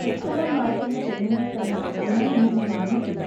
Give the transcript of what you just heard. പുസ്തകം വായിക്കുന്ന പെണ്ണുങ്ങൾ തന്നെ ഗുണമെന്നു ഞാൻ എണ്ണീട്ടില്ല.